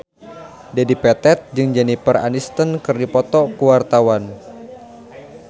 Dedi Petet jeung Jennifer Aniston keur dipoto ku wartawan